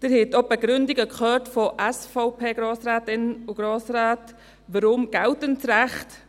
Sie haben auch die Begründungen von SVP-Grossrätinnen und -Grossräten gehört, weshalb geltendes Recht.